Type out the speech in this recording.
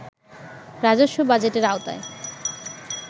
রাজস্ব বাজেটের আওতায়